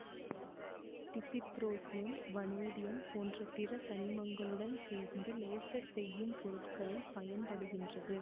dysprosium vanadium போன்ற பிற தனிமங்களுடன் சேர்ந்து லேசர் செய்யும் பொருட்களில் பயன்படுகின்றது